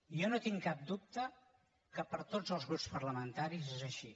jo no tinc cap dubte que per a tots els grups parlamentaris és així